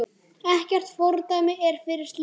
Ekkert fordæmi er fyrir slíku.